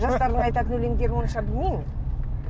жастардың айтатын өлеңдерін онша білмеймін